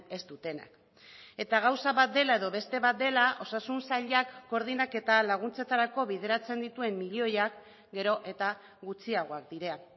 ez dutenak eta gauza bat dela edo beste bat dela osasun sailak koordinaketa laguntzetarako bideratzen dituen milioiak gero eta gutxiagoak dira